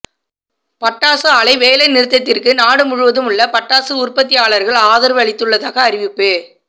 பட்டாசு ஆலை வேலைநிறுத்தத்திற்கு நாடு முழுவதும் உள்ள பட்டாசு உற்பத்தியாளர்கள் ஆதரவு அளித்துள்ளதாக அறிவிப்பு